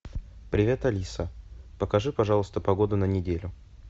привет алиса покажи пожалуйста погоду на неделю